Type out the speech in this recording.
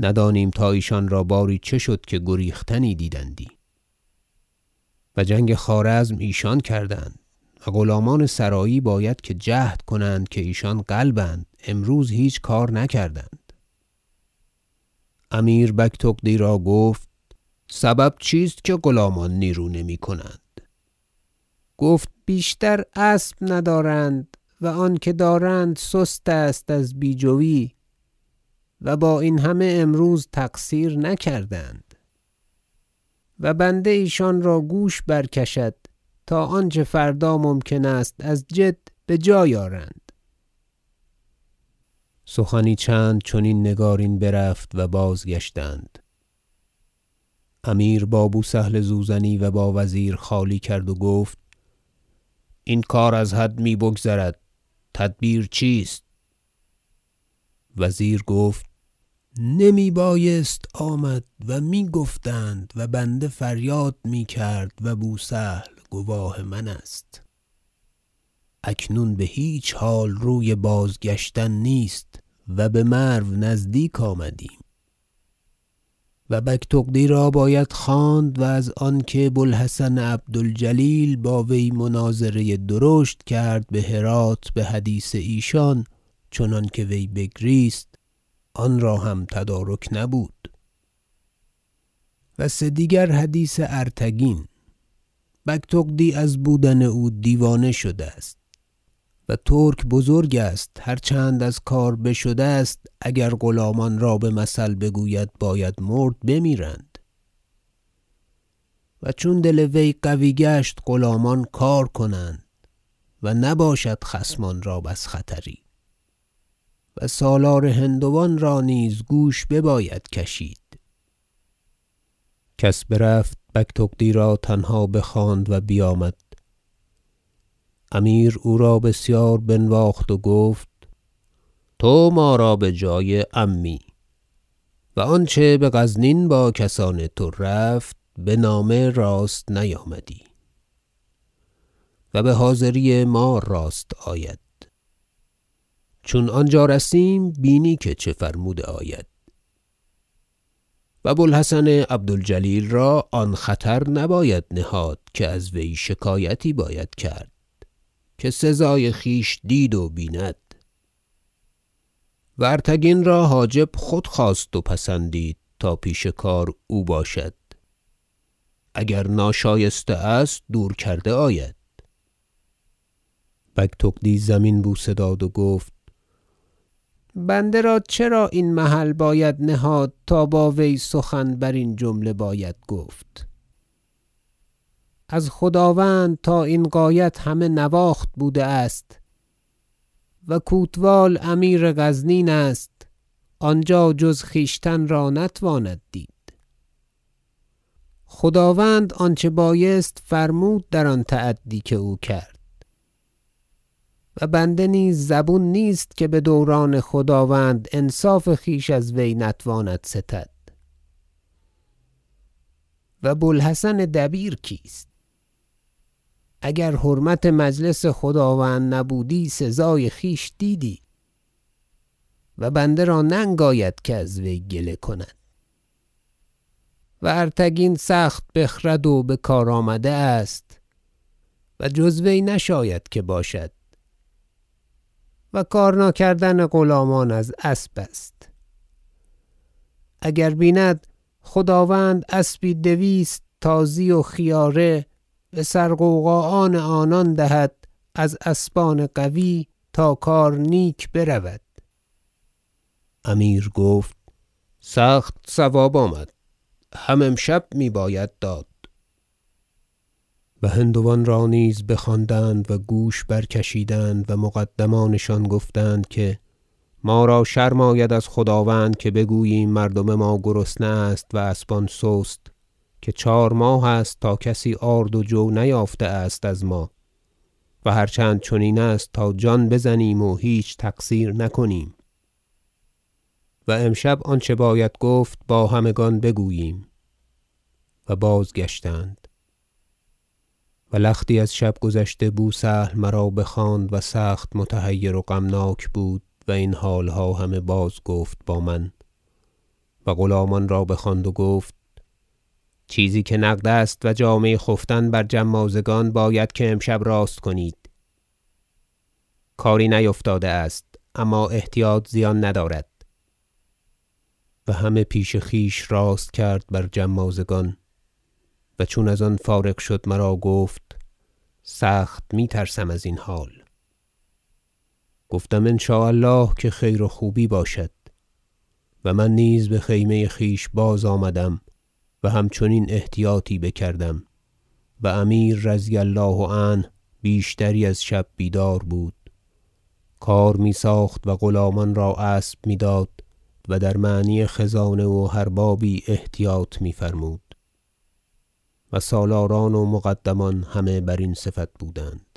ندانیم تا ایشان را باری چه شد که گریختنی دیدندی و جنگ خوارزم ایشان کردند و غلامان سرایی باید که جهد کنند که ایشان قلب اند امروز هیچ کار نکردند امیر بگتغدی را گفت سبب چیست که غلامان نیرو نمی- کنند گفت بیشتر اسب ندارند و آنکه دارند سست است از بی جوی و با این همه امروز تقصیر نکردند و بنده ایشان را گوش برکشد تا آنچه فردا ممکن است از جد بجای آرند سخنی چند چنین نگارین برفت و بازگشتند امیر با بو سهل زوزنی و با وزیر خالی کرد و گفت این کار از حد می بگذرد تدبیر چیست وزیر گفت نمی بایست آمد و میگفتند و بنده فریاد میکرد و بو سهل گواه من است اکنون بهیچ حال روی بازگشتن نیست و بمرو نزدیک آمدیم و بگتغدی را باید خواند و از آنکه بو الحسن عبد الجلیل با وی مناظره درشت کرد بهرات بحدیث ایشان چنانکه وی بگریست آنرا هم تدارک نبود و سه دیگر حدیث ارتگین بگتغدی از بودن او دیوانه شده است و ترک بزرگ است هر چند از کار بشده است اگر غلامان را بمثل بگوید باید مرد بمیرند و چون دل وی قوی گشت غلامان کار کنند و نباشد خصمان را بس خطری و سالار هندوان را نیز گوش بباید کشید کس برفت و بگتغدی را تنها بخواند و بیامد امیر او را بسیار بنواخت و گفت تو ما را بجای عمی و آنچه بغزنین با کسان تو رفت بنامه راست نیامدی و بحاضری ما راست آید چون آنجا رسیم بینی که چه فرموده آید و بو الحسن عبد الجلیل را آن خطر نباید نهاد که از وی شکایتی باید کرد که سزای خویش دید و بیند و ارتگین را حاجب خود خواست و پسندید تا پیش کار او باشد اگر ناشایسته است دور کرده آید بگتغدی زمین بوسه داد و گفت بنده را چرا این محل باید نهاد تا با وی سخن برین جمله باید گفت از خداوند تا این غایت همه نواخت بوده است و کوتوال امیر غزنین است آنجا جز خویشتن را نتواند دید خداوند آنچه بایست فرمود در آن تعدی که او کرد و بنده نیز زبون نیست که بدوران خداوند انصاف خویش از وی نتواند ستد و بو الحسن دبیر کیست اگر حرمت مجلس خداوند نبودی سزای خویش دیدی و بنده را ننگ آید که از وی گله کند و ارتگین سخت بخرد و بکار آمده است و جز وی نشاید که باشد و کار ناکردن غلامان از اسب است اگر بیند خداوند اسبی دویست تازی و خیاره بسر غوغا آن آنان دهد از اسبان قوی تا کار نیک برود امیر گفت سخت صواب آمد هم امشب میباید داد و هندوان را نیز بخواندند و گوش برکشیدند و مقدمانشان گفتند که ما را شرم آید از خداوند که بگوییم مردم ما گرسنه است و اسبان سست که چهار ماه است تا کسی آرد و جو نیافته است از ما و هر چند چنین است تا جان بزنیم و هیچ تقصیر نکنیم و امشب آنچه باید گفت با همگان بگوییم و بازگشتند و لختی از شب گذشته بو سهل مرا بخواند و سخت متحیر و غمناک بود و این حالها همه بازگفت با من و غلامان را بخواند و گفت چیزی که نقد است و جامه خفتن بر جمازگان باید امشب که راست کنید کاری نیفتاده است اما احتیاط زیان ندارد و همه پیش خویش راست کرد بر جمازگان و چون از آن فارغ شد مرا گفت سخت می ترسم ازین حال گفتم ان شاء الله که خیر و خوبی باشد و من نیز بخیمه خویش بازآمدم و همچنین احتیاطی بکردم و امیر رضی الله عنه بیشتری از شب بیدار بود کار میساخت و غلامان را اسب میداد و در معنی خزانه و هر بابی احتیاط میفرمود و سالاران و مقدمان همه برین صفت بودند